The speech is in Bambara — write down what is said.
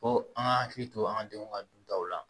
Ko an ka hakili to an ka denw ka dutaw la